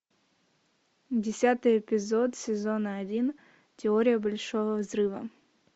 десятый эпизод сезона один теория большого взрыва